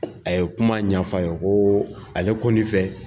A ye kuma ɲɛf'a ye ko ale kɔni fɛ